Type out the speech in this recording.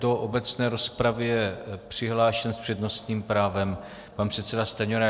Do obecné rozpravy je přihlášen s přednostním právem pan předseda Stanjura.